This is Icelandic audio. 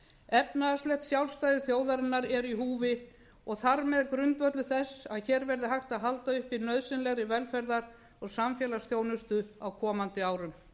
efnahagslegt sjálfstæði þjóðarinnar er í húfi og þar með grundvöllur þess að hér verði hægt að halda uppi nauðsynlegri velferðar og samfélagsþjónustu á komandi árum